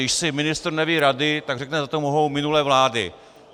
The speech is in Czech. Když si ministr neví rady, tak řekne: za to mohou minulé vlády.